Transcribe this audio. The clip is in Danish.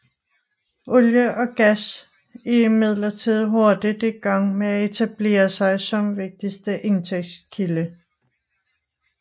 Olie og gas er imidlertid hurtigt i gang med at etablere sig som vigtigste indtægtskilde